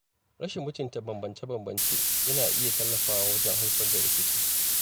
Rashin mutunta bambance-bambance yana iya tallafawa wajen haifar da rikici.